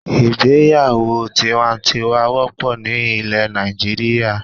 Ìgbéyàwó tiwantiwan wópò ni ilè Nàìjíríà